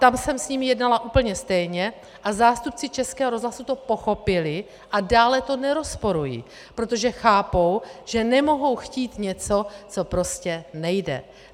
Tam jsem s nimi jednala úplně stejně a zástupci Českého rozhlasu to pochopili a dále to nerozporují, protože chápou, že nemohou chtít něco, co prostě nejde.